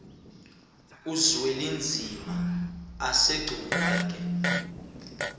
uzwelinzima asegcuwa ke